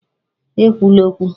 E kwula okwu!